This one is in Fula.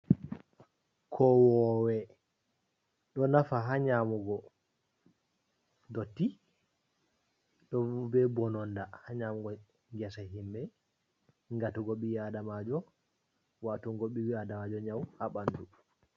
Kowowe ɗo nafa ha nyamugo dotti, ɗo be bononda ha nyamugo ngesa himɓe, ngatugo ɓi Adamajo watugo ɓi Adamajo nyawu ha ɓandu.